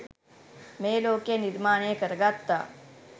මේ ලෝකය නිර්මාණය කරගත්තා